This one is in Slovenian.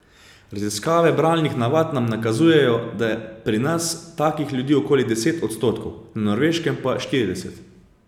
Raziskave bralnih navad nam nakazujejo, da je pri nas takih ljudi okoli deset odstotkov, na Norveškem pa štirideset.